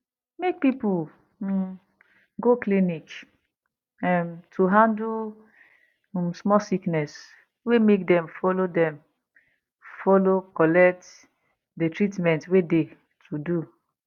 make people um go clinic um to handle um small sickness well make dem follow dem follow collect de treatment wey de to do